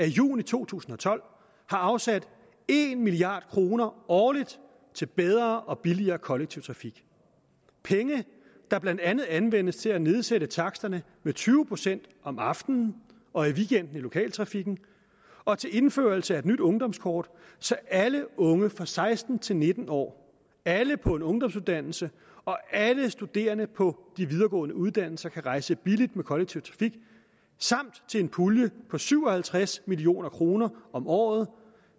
juni to tusind og tolv har afsat en milliard kroner årligt til bedre og billigere kollektiv trafik penge der blandt andet anvendes til at nedsætte taksterne med tyve procent om aftenen og i weekenden i lokaltrafikken og til indførelse af et nyt ungdomskort så alle unge fra seksten til nitten år alle på en ungdomsuddannelse og alle studerende på de videregående uddannelser kan rejse billigt med kollektiv trafik samt en pulje på syv og halvtreds million kroner om året